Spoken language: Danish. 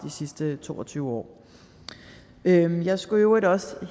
sidste to og tyve år jeg skulle i øvrigt også